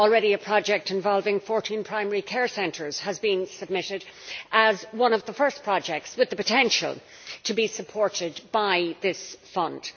A project involving 14 primary care centres has already been submitted as one of the first projects with the potential to be supported by this fund.